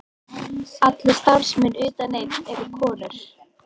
Allir starfsmenn utan einn eru konur